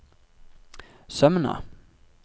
Sømna